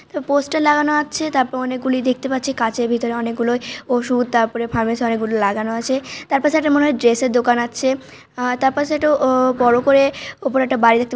poster লাগানো আছে তারপর অনেকগুলি দেখতে পাচ্ছি কাচের ভিতর অনেকগুলো ওষুধ তারপরে ফার্মাসি অনেকগুলি লাগানো আছে তারপাশে মনে হয় একটি ড্রেসের দোকান আছে অ তারপাশে একটা অ বড়ো করে উপরে একটা বাড়ি--